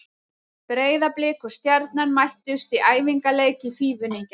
Breiðablik og Stjarnan mættust í æfingarleik í Fífunni í gær.